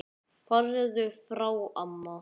Farðu frá amma!